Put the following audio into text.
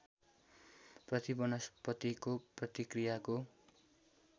प्रति वनस्पतिको प्रतिक्रियाको